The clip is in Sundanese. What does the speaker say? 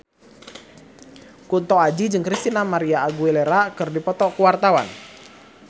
Kunto Aji jeung Christina María Aguilera keur dipoto ku wartawan